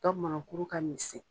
Dɔ mɔnɔ kuru ka misɛn.